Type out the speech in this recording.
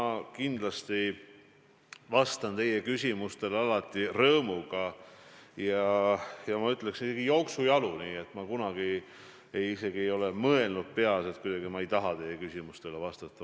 Ma kindlasti vastan teie küsimustele alati rõõmuga ja ma ütleksin, et ma kunagi isegi ei ole oma peas mõelnud, et ma kuidagi ei taha teie küsimustele vastata.